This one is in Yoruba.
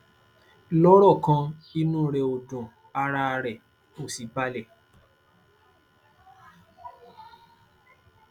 lọrọ kan inú rẹ ò dùn ara rẹ ò sì bàlẹ